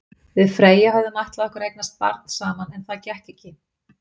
Við Freyja höfðum ætlað okkur að eignast barn saman, en það gekk ekki.